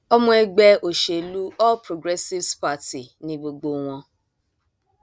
ọmọ ẹgbẹ òṣèlú all progressives party ni gbogbo wọn